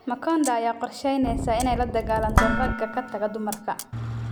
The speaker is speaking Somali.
Makonda ayaa qorsheyneysa inay la dagaalanto ragga ka taga dumarka